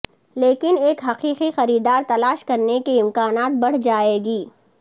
لیکن ایک حقیقی خریدار تلاش کرنے کے امکانات بڑھ جائے گی